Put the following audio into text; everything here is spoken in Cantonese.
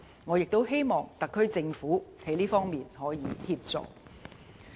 我亦希望特區政府可在這方面提供協助。